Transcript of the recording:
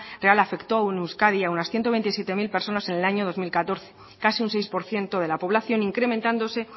real afectó en euskadi a unas ciento veintisiete mil personas en el año dos mil catorce casi un seis por ciento de la población incrementándose